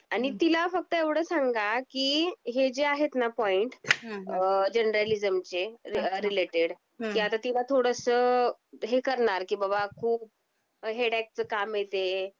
आणि तिला फक्त एवढ सांगा की हे जे आहेत ना पॉईंट अ जर्नलिसमचे रिलेटेड ह्यात तिला थोडस हे करणार की बाबा खूप हेडेकच काम आहे ते